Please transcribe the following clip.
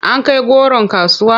An kai goron kasuwa?